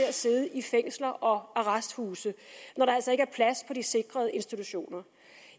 at sidde i fængsler og arresthuse når der altså ikke plads på de sikrede institutioner